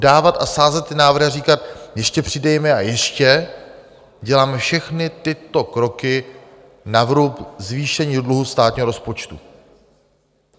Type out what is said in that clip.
Dávat a sázet ty návrhy a říkat: Ještě přidejme a ještě - děláme všechny tyto kroky na vrub zvýšení dluhu státního rozpočtu.